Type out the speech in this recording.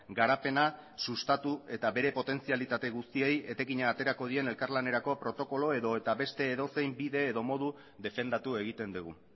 garapena sustatu eta bere potentzialitate guztiei etekina aterako dien elkarlanerako protokolo edota beste edozein bide edo modu defendatu egiten dugu